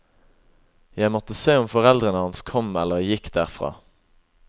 Jeg måtte se om foreldrene hans kom eller gikk derfra.